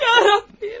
Ya Rabbim!